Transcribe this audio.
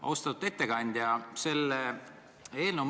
Austatud ettekandja!